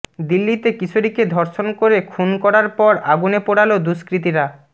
দিল্লিতে কিশোরীকে ধর্ষণ করে খুন করার পর আগুনে পোড়াল দুষ্কৃতীরা